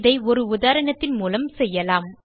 இதை ஒரு உதாரணத்தின் மூலம் செய்யலாம்